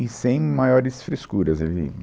E sem maiores frescuras.